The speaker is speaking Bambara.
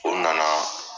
O nana